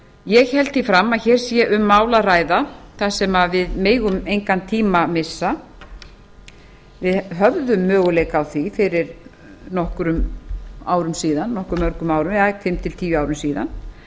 ég held því fram að hér sé um mál að ræða þar sem við megum engan tíma missa við höfðum möguleika á því fyrir nokkrum árum síðan nokkuð mörgum árum ja fimm til tíu árum síðan